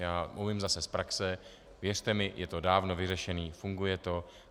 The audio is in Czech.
Já umím zase z praxe - věřte mi, je to dávno vyřešeno, funguje to.